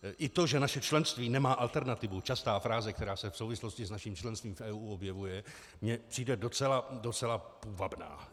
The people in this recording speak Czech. I to, že naše členství nemá alternativu, častá fráze, která se v souvislosti s naším členstvím v EU objevuje, mi přijde docela půvabná.